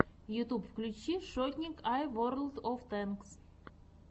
ютуб включи шотник ай ворлд оф тэнкс